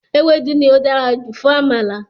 Ewédú ni ó dára jù fún Àmàlà